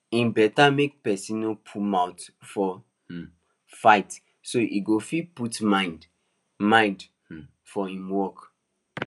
e better make person no put mouth for um fights so e go fit put mind mind um for im work